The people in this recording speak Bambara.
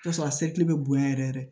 I bi t'a sɔrɔ a sekile be bonya yɛrɛ yɛrɛ